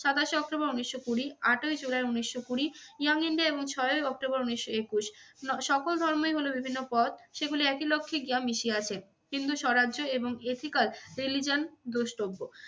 সাতাশে অক্টোবর উনিশশো কুড়ি, আটই জুলাই উনিশশো কুড়ি ইয়াং ইন্ডিয়া এবং ছয়ই অক্টোবর উনিশশো একুশ সকল ধর্মই হল বিভিন্ন পথ সেগুলি একই লক্ষ্যে গিয়ে মিশিয়াছে। হিন্দু স্বরাজ্য এবং এথিক্যাল রিলিজিয়ন দ্রষ্টব্য।